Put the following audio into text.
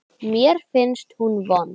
Mér finnst hún vond.